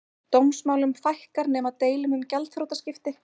Dómsmálum fækkar nema deilum um gjaldþrotaskipti